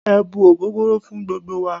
E̩ bu ogogoro fun gbogbo wa